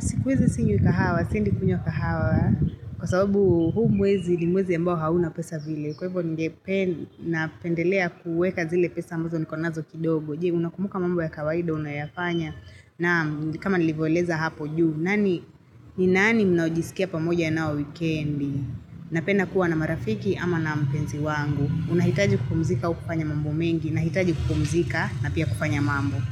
Siku hizi sinywi kahawa, siendi kunywa kahawa Kwa sababu huu mwezi ni mwezi ambao hauna pesa vile Kwa hivyo ningepe napendelea kuweka zile pesa ambazo niko nazo kidogo Je, unakumbuka mambo ya kawaida unayafanya na ni kama nilivyoeleza hapo juu nani, ni nani mnaojisikia pamoja ya na wao wikendi Napenda kuwa na marafiki ama na mpenzi wangu unahitaji kupumzika ukifanya mambo mengi Nahitaji kupumzika na pia kupanya mambo.